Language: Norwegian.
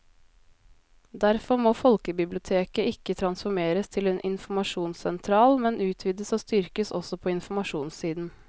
Derfor må folkebiblioteket ikke transformeres til en informasjonssentral, men utvides og styrkes også på informasjonssiden.